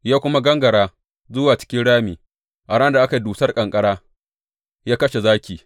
Ya kuma gangara zuwa cikin rami a ranar da aka yi dusar ƙanƙara ya kashe zaki.